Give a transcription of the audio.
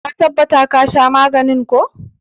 Ka tabbata ka sha maganin ko!